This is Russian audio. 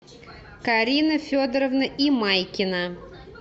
карина федоровна имайкина